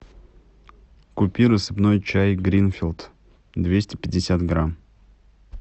купи рассыпной чай гринфилд двести пятьдесят грамм